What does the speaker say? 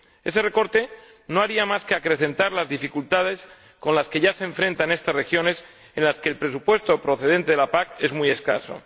Ese recorte no haría más que acrecentar las dificultades con las que se ya se enfrentan estas regiones, en las que el presupuesto procedente de la PAC es muy escaso.